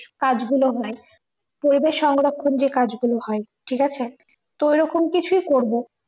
কাজগুলো হয় পরিবেশ সংরক্ষণ যে কাজ গুলো হয় ঠিকাছে তো ঐরকম কিছু করবো